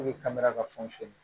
kamera ka fɛnw feere